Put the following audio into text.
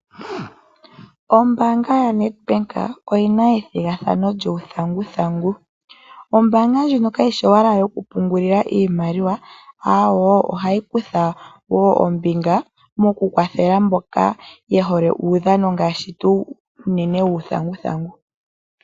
Ombaanga yaNEDBANK oyina ethigathano lyuuthanguthangu. Ombaanga ndjino kayi shi owala yoku pungulila iimaliwa, awoo, ohayi kutha wo ombinga moku kwathela mboka ye hole uudhano ngaashi wuuthanguthangu.